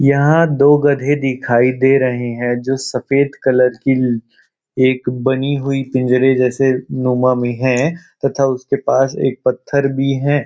यहां दो गधे दिखाई दे रहे हैं जो सफेद कलर की एक बनी हुई पिंजरे जैसे नुमा में है तथा उसके पास एक पत्थर भी है।